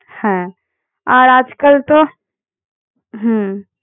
হ্যাঁ আর আজকাল তো হুম